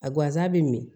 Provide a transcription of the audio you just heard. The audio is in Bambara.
A guwanza be min